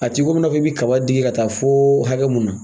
A t'i komi i n'a fɔ i bi kaba digi ka taa foo hakɛ mun na.